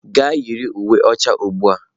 Gaa yiri uwe ọcha ugbu a!